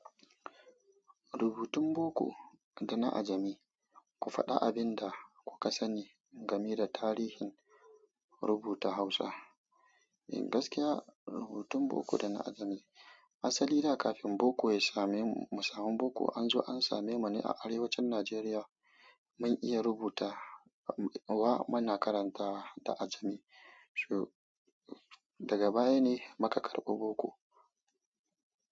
Rubutun Boko ga na Ajami, ku faɗa abin da kuka sani game da tarihin rubuta Hausa. Gaskiya rubutun Boko da na Ajami, asali da kafin Boko ya same mu, mu sami Boko anzo an same mu ne a arewacin Najeriya. Mun iya rubuta wa muna karantawa da Ajami. Daga baya ne muka karɓi Boko.